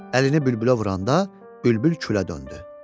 Əlini bülbülə vuranda, bülbül külə döndü.